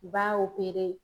U b'a